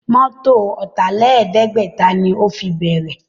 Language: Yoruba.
Mọ́tọ̀ Ọ̀tàlẹ̀ẹ́dẹ́gbẹ̀ta ni ó fi bẹ̀rẹ̀